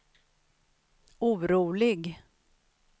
orolig